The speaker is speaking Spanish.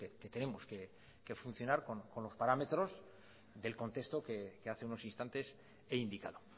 que tenemos que funcionar con los parámetros del contexto que hace unos instantes he indicado